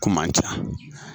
Kuma man ca